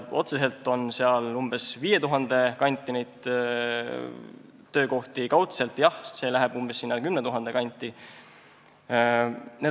Otseselt on seal umbes 5000 töökohta, kaudselt võttes läheb see arv 10 000 kanti.